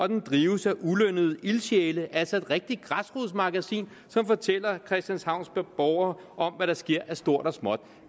den drives af ulønnede ildsjæle altså et rigtigt græsrodsmagasin som fortæller christianshavns borgere om hvad der sker af stort og småt